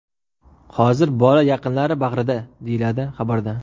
Hozir bola yaqinlari bag‘rida”, deyiladi xabarda.